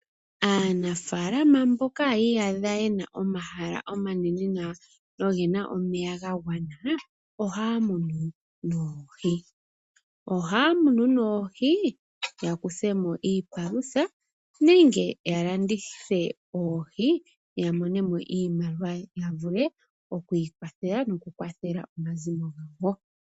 Aanafaalama mboka ye na omahala omanene nawa na oge na omeya ga gwana nawa, ohaa munu oohi. Elalakano lyoku dhi muna opo ya mone iipalutha, nenge ye dhi landithe yo ya mone mo iimaliwa ya vule oku ikwathela noku kwathele omazimo gawo.